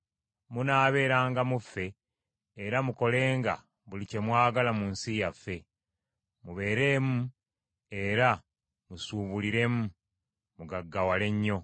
Munaabeeranga mu ffe, era mukolenga buli kye mwagala mu nsi yaffe. Mubeeremu era musuubuliremu, mugaggawale nnyo.”